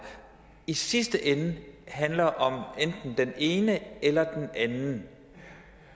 i sidste ende handler om enten den ene eller den anden